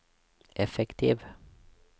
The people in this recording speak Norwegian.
effektiv